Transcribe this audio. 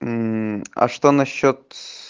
мм а что насчёт